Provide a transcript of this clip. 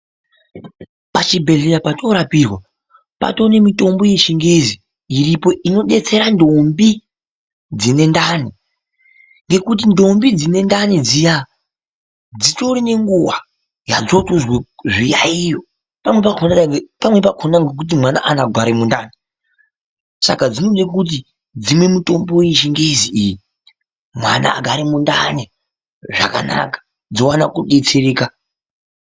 Pachibhedhleya potorapirwa patone mitombo yechingezi iripo inobetsera ndombi dzine ndani. Ngekuti ndombi dzine ndani dziya dzitorine nguva yadzotozwe zviyaiyo pamwe pakona nekuti mwana haana kugare mundani. Saka dzinode kuti dzimwe mitombo yechingezi iyi mwana agare mundani zvakanaka dzovana kubetsereka.